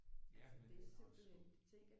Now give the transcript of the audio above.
Ja men den er også smuk